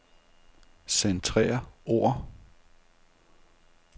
Centrer ord.